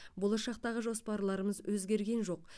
болашақтағы жоспарларымыз өзгерген жоқ